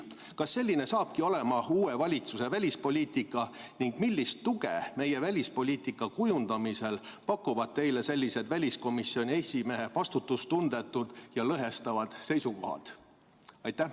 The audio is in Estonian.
Kas selline hakkabki olema uue valitsuse välispoliitika ning millist tuge meie välispoliitika kujundamisel pakuvad teile sellised väliskomisjoni esimehe vastutustundetud ja lõhestavad seisukohad?